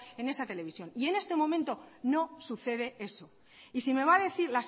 en esa televisión y en este momento no sucede eso y si me va a decir